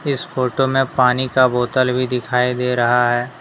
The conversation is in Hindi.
इस फोटो में पानी का बोतल भी दिखाई दे रहा है।